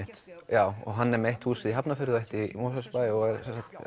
já og hann er með eitt hús í Hafnarfirði og eitt í Mosfellsbæ og er